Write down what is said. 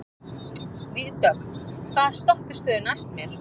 Vígdögg, hvaða stoppistöð er næst mér?